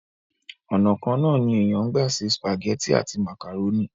ònà kan náà ní èèyàn ń gbà ṣe sùpàgẹ́tì àti màkàrónì